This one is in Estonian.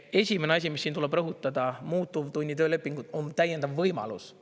" Esimene asi, mis siin tuleb rõhutada, muutuvtunni töölepingud on täiendav võimalus.